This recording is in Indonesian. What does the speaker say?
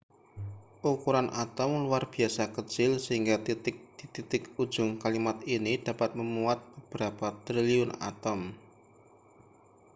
ukuran atom luar biasa kecil sehingga titik di titik ujung kalimat ini dapat memuat beberapa triliun atom